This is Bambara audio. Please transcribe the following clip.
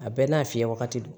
A bɛɛ n'a fiyɛ wagati don